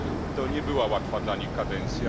To nie była łatwa dla nich kadencja.